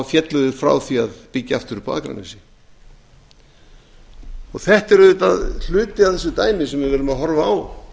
féllu þeir frá því að byggja aftur upp á akranesi þetta er hluti af þessu dæmi sem við erum að horfa á